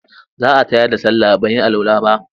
Za a tayar da sallah ban yi alwala ba.